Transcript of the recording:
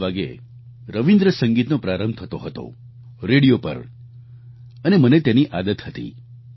30 વાગ્યે રવિન્દ્ર સંગીતનો પ્રારંભ થતો હતો રેડિયો પર અને મને તેની આદત હતી